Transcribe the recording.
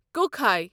کۄکھٕے